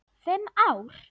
Fimm ár?